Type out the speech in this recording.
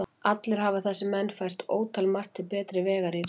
Allir hafa þessir menn fært ótalmargt til betri vegar í ritinu.